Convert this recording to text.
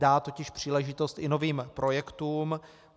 Dá totiž příležitost i novým projektům.